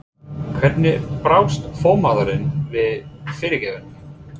Hvernig brást formaðurinn við fyrirgefningunni?